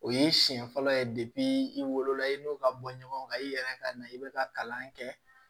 O ye siɲɛ fɔlɔ ye i wolo la i n'o ka bɔ ɲɔgɔn kan i yɛrɛ ka na i bɛ ka kalan kɛ